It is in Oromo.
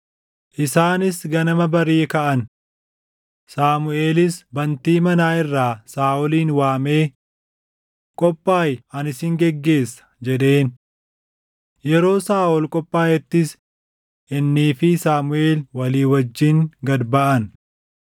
Isaanis ganama barii kaʼan; Saamuʼeelis bantii manaa irraa Saaʼolin waamee, “Qophaaʼi ani sin geggeessa” jedheen. Yeroo Saaʼol qophaaʼettis innii fi Saamuʼeel walii wajjin gad baʼan.